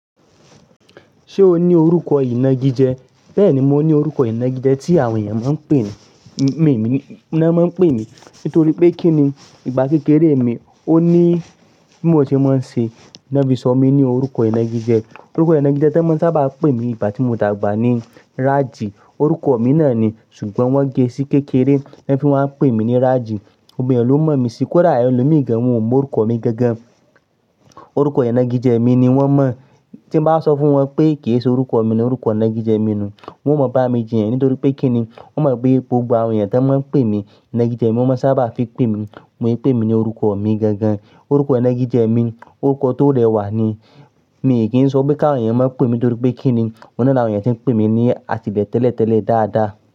Ṣé o ní orúkọ ìnagijẹ? Bẹ́ẹ̀ni, mo ní orúkọ ìnagijẹ tí àwọn ènìyàn máa ń pè mi, mi ni, wọn máa ń pè mí nítorí pé kí ni ìgbà kékeré mi ó ní bí mo ṣe máa ń ṣe, wọ́n fi sọ mí ní orúkọ ìnagijẹ. Orúkọ ìnagijẹ tí wọ́n sábà ń pè mí ìgbà tí mó dàgbà ni Rájì. Orúkọ mi náà ni ṣùgbọ́n wọ́n gé e sí kékeré, wọ́n fi máa ń pè mí ní Rájì. Gbògbò mí ní ó mọ̀ mí síi, kò dà ẹ lò míì gàn wọn ò mọ orúkọ mi gẹ́gẹ́. Orúkọ ìnagijẹ mi ni wọ́n mọ̀. Tí bá sọ fún wọn pé kì í ṣe orúkọ mi ni orúkọ ìnagijẹ mi nù wọ́n ò mọ̀ bá mi jiyàn nítorí pé kí ni wọ́n mọ̀ pé gbògbò àwọn ènìyàn tí wọ́n máa ń pè mí ìnagijẹ mi wọ́n máa ń sábà fi pè mí wọ́n pè mí ní orúkọ mi gàngàn Orúkọ ìnagijẹ mi orúkọ tó rẹwà ni. Mi kì í sọ pé ká àwọn ènìyàn máa ń pè mí nítorí pé kí ni, ọ̀nà náà àwọn ènìyàn tí ń pè mí ní àtìlẹ́ tẹ́lẹ̀tẹ́lẹ̀ dáadáa.